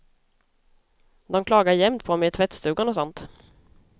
De klagar jämt på mig i tvättstugan och sådant.